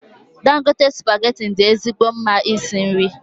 Dangote spaghetti dị ezigbo mma isi nri.